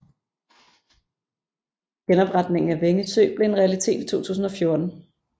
Genopretningen af Vænge Sø blev en realitet i 2014